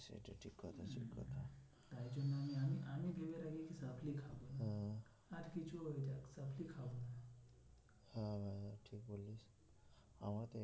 আমাদের